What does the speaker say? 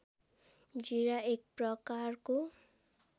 जीरा एक प्रकारको